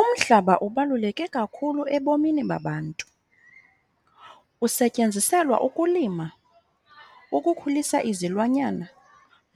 Umhlaba ubaluleke kakhulu ebomini babantu. Usetyenziselwa ukulima, ukukhulisa izilwanyana